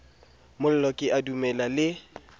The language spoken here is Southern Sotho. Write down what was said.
mollo ke a dumela le